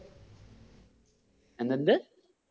എന്തെന്ത്?